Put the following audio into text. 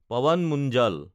Pawan Munjal